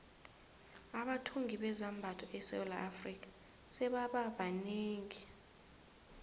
abathungi bezambatho esewula afrika sebaba banengi